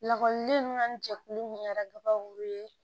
Lakɔliden ninnu ka ni jɛkulu min kɛra kabako ye